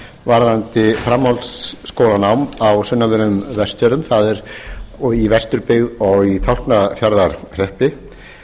varðandi framhaldsskólanám á sunnanverðum vestfjörðum og í vesturbyggð og í tálknafjarðarhreppi